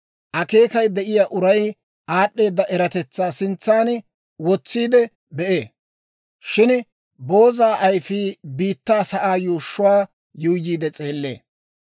Akeekay de'iyaa uray aad'd'eeda eratetsaa sintsan wotsiide bee; shin booza ayifii biittaa sa'aa yuushshuwaa yuuyyiide s'eellee.